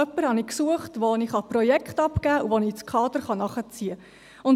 Ich hatte jemanden gesucht, dem ich Projekte abgeben kann und den ich ins Kader nachziehen kann.